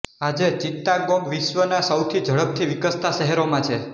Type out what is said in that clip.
આજે ચિત્તાગોંગ વિશ્વના સૌથી ઝડપથી વિકસતાં શહેરોમાં છે